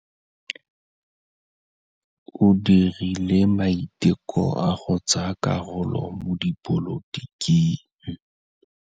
O dirile maitekô a go tsaya karolo mo dipolotiking.